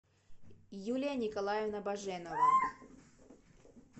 юлия николаевна баженова